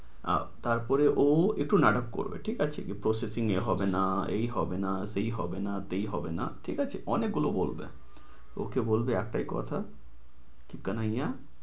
আহ তার পরেও একটু নাটক করবে, ঠিক আছে? এই processing এ হবে না। এই হবে না। এই হবে না। তেই হবে না। ঠিক আছে? অনেক গুলো বলবে, ওকে বলবে একটাই কথা, কানাইয়া